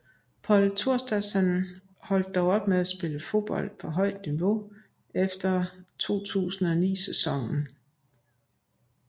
Pól Thorsteinsson holdt dog op med at spille fodbold på højt niveau efter 2009 sæsonen